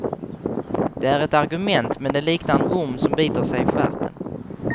Det är ett argument, men det liknar en orm som biter sig i stjärten.